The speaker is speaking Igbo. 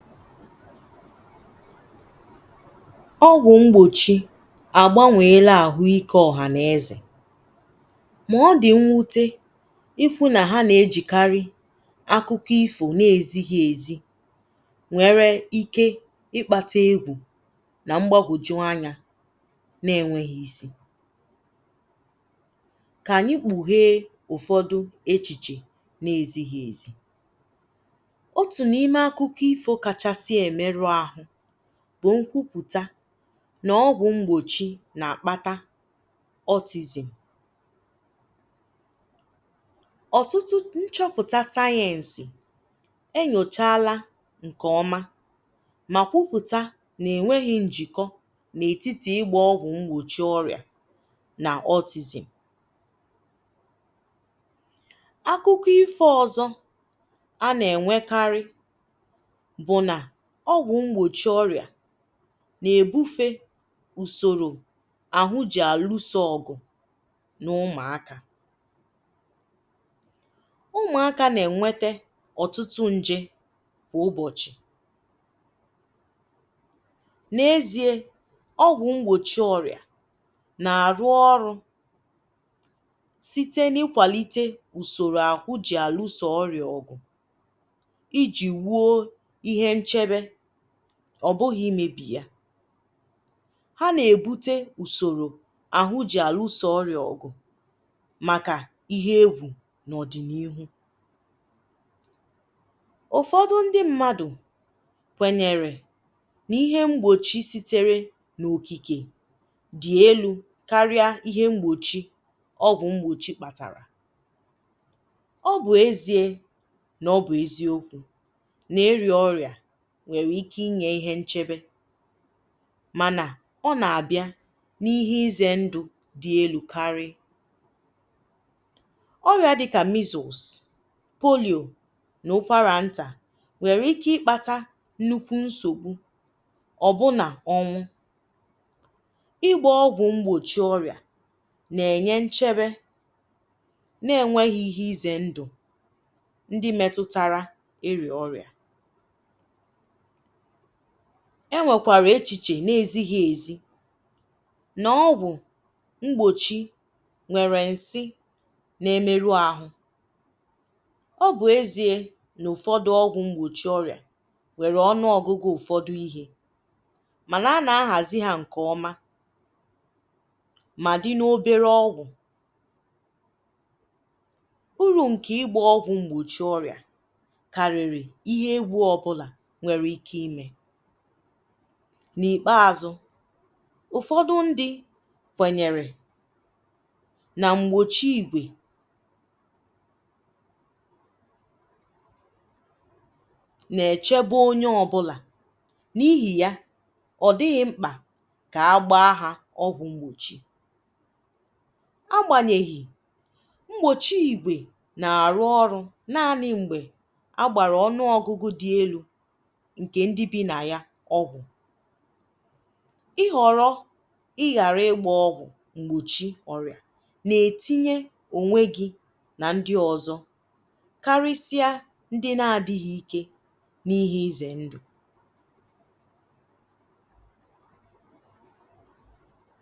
E nwè m̄gbochì a gbànwèlà ahụ̀ ike ọhà nà ezè mà ọ dị̀ mnwutè ịhụ̀ nà hà nà ejikarì akụ̀kọ̀ ifò n’ezighì ezì nwerè ike ịkpatà egwù nà m̄gbàgojù anya na-enweghì isi kà anyị̀ kpughè ụfọdụ̀ echichè na-ezighì ezì otun’imè akụ̀kọ̀ ifò kachasị̀ emerù ahụ̀ bụ̀ nkwupùtà n’ọgwụ̀ m̄gbochì n’akpatà autism ọtụtụ nchopụtà sayensị̀ enyòchalà nke ọmà mà kwuputà na-enweghì njikọ̀ n’etitì ịgbà ọgwụ̀ m̄gbochì ọrịà nà autism akụ̀kọ̀ ifò ọzọ̀ a na-enwèkarị̀ bụ̀ nà ogwụ̀ m̄gbochì ọrịà na-ebufè usorò ahụ̀ jì ahusò ọgụ̀ n’ụmụ̀akà ụmụakà na-enwetè ọtụtụ njè kwà ụbọchị̀ n’eziè ọgwụ̀ m̄gbochì ọrịà na-arụ̀ ọrụ̀ sitē n’ikwàlitè usorò ahụ̀ jì alusò ọrịà ọgụ̀ ijì wuò ihe ncherè ọ bụ̀ghị̀ imebì yà hà na-ebutè usorò ahụ̀ jì alusò ọrịà ọgụ̀ màkà ihe egwù n’ọdị n’ihu ụfọdụ̀ ndị̀ mmadụ̀ kwenyerè n’ihè m̄gbochì siterè n’okikè dị̀ elù karịà ihe m̄gbochì ọgwụ̀ m̄gbochì kpàtarà ọ bụ̀ eziè n’ọbụ̀ eziokwu n’ịrà ọrịà nwerè ike inyè ihe nchebè mànà ọna-abịà n’ihe izè ndụ̀ karịè ọrịà dịkà measles Polio n’ụkwarà ntà nwerè ike ịkpatà nnukwù nsogbù ọ bụnà ọnwụ̀ ịgbà ọgwụ̀ m̄gbochì ọrịà na-enyè nchebè na-enweghì ihe ize ndụ̀ ndị̀ metutarà ịrà ọrịà enwèkwarà echichè na-ezighì ezì n’ọgwụ̀ m̄gbochì nwerè nsị̀ na-emerù ahụ̀ ọ bụ̀ eziè n’ụfọdụ̀ ọgwụ̀ m̄gbochì ọrịà nwerè ọnụ̀ ọgụ̀gụ̀ ụfọdụ̀ ihe mànà a na-ahàzì hà nkè ọmà mà dị̀ n’oberè ọgwụ̀ urù nkè ịgbà ọgwụ̀ m̄gbochì ọrịà karirì ihe egwù ọbụlà nwerè ike imè n’ikpeazụ̀ ụfọdụ̀ ndị̀ kwenyerè nà m̄gbochì ìgwè na-echebè onyè ọbụlà n’ihì yà ọ dịghị̀ m̄kpà kà agbaa hà ọgwù m̄gbochì agbanyèghì m̄gbochì ìgwè na-arụ̀ ọrụ̀ naanị̀ m̄gbè agbarà ọnụ̀ ọgụ̀gụ̀ dị̀ elù nkè ndịl bì nà yà ọgwụ̀ ịhọ̀rọ̀ ịgharà ịgbà ọgwụ̀ m̄gbochì ọrịà na-etinyè onwè gì nà ndị̀ ọzọ̀ karisià ndị̀ na-adịghị̀ ike n’ihe izè ndụ̀